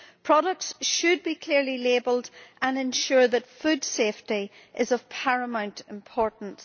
Products should be clearly labelled and ensure that food safety is of paramount importance.